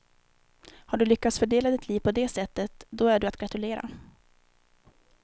Har du lyckats fördela ditt liv på det sättet, då är du att gratulera.